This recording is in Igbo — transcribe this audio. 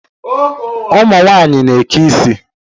Ụmụ nwanyị na-eke ịsị